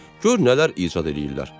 Gör nələr icad eləyirlər.